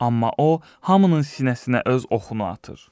Amma o hamının sinəsinə öz oxunu atır.